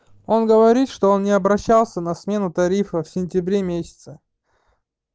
он говорит что он не обращался на смену тарифа в сентябре месяце